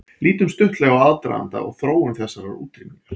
Lítum stuttlega á aðdraganda og þróun þessarar útrýmingar.